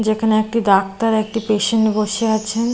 যেখানে একটি ডাক্তার একটি পেশেন্ট বসে আছেন।